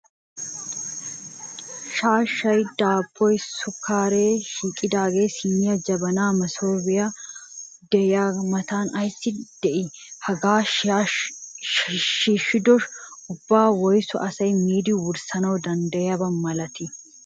shaashshayi, daabboyi, sukkaaree, shidhdhay, siinee, jabanaynne masoope de''iyaaga matan asi dii? Hagaa shiishshido ubbaa woyisu asayi miidi wurssana danddayiyaaba malatii?